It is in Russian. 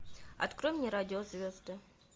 открой мне радио звезды